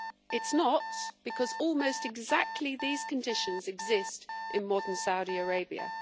It is not, because almost exactly these conditions exist in modern Saudi Arabia.